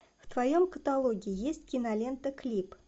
в твоем каталоге есть кинолента клип